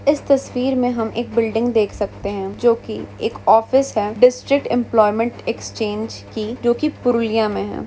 इस तस्वीर में हम एक बिल्डिंग देख सकते है जो की एक ऑफिस है। डिस्ट्रिक्ट एंप्लॉयमेंट एक्सचेंज की जो की पुरुलिया में हैं।